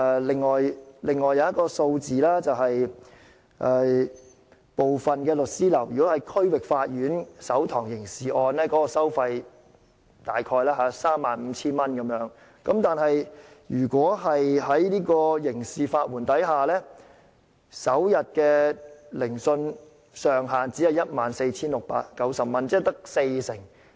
另外一個數字是，如果是區域法院審訊的首堂刑事案件，部分律師樓的收費約為 35,000 元，但如果在刑事法援制度下，首天聆訊上限只是 14,690 元，即約市場收費的四成。